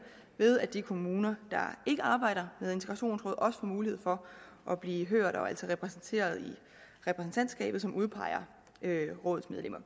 ved at de kommuner der ikke arbejder med integrationsråd også får mulighed for at blive hørt og altså repræsenteret i repræsentantskabet som udpeger rådets medlemmer